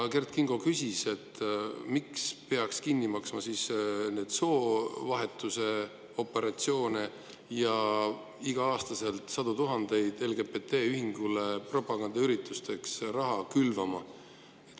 Kert Kingo küsis, et aga miks peaks siis kinni maksma soovahetusoperatsioone ja iga-aastaselt sadu tuhandeid eurosid raha LGBT-ühingule propagandaüritusteks külvama.